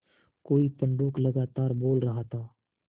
कोई पंडूक लगातार बोल रहा था